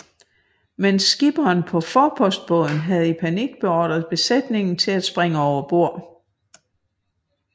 Men skipperen på forpostbåden havde i panik beordret besætningen til at springe over bord